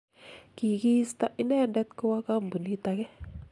kikiisto inendet kowo kampunit age